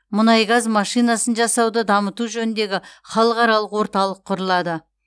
мұнай газ машинасын жасауды дамыту жөніндегі халықаралық орталық құрылады